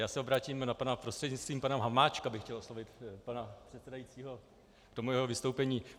Já se obrátím na pana - prostřednictvím pana Hamáčka bych chtěl oslovit pana předsedajícího k tomu jeho vystoupení.